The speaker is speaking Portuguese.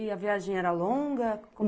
E a viagem era longa?